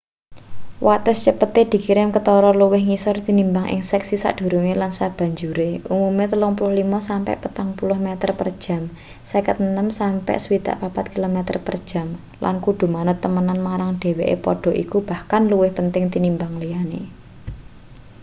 wates cepete dikirim ketara luwih ngisor tinimbang ing seksi sadurunge lan sabanjure — umume 35-40 meter per jam 56-64.km/jam — lan kudu manut temenan marang dheweke padha iku bahkan luwih penting tinimbang liyane